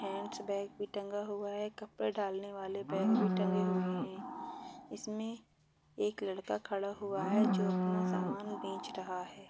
Hands bag भी टंगा हुवा है। कपड़े डालने वाले बॅग भी टंगे हुवे है। इसमे एक लड़का खड़ा हुआ है। जो अपना सामान बेच रहा है।